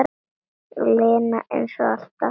Aleina, eins og alltaf.